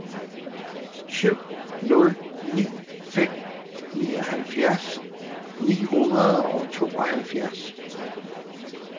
syv nul ni fem nioghalvfjerds ni hundrede og tooghalvfjerds